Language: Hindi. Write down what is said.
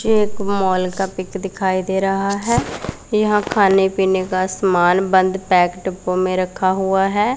ये एक मॉल का पिक दिखाई दे रहा है यहां खाने पीने का सामान बंद पैक डब्बों में रखा हुआ है।